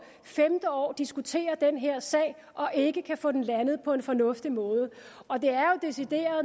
femte år diskuterer den her sag og ikke kan få den landet på en fornuftig måde